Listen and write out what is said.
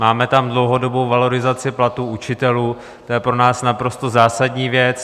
Máme tam dlouhodobou valorizaci platů učitelů, to je pro nás naprosto zásadní věc.